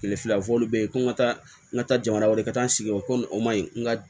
Kile fila fɔ olu be ye ko n ka taa n ka taa jamana wɛrɛ taa n sigiyɔrɔ ko nin o ma ɲi n ka